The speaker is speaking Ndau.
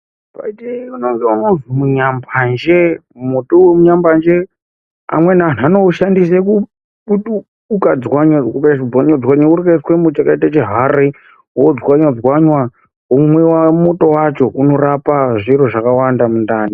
Kwedu kune unozi mutsunya mbanje muti unonzi mutsunya mbanje amweni antu anoishandisa kudzwanya dzwanya womuisa makaita muchihari wodzwanya dzwanya womwiwa muto wacho unorapa zviro zvakawanda mundani.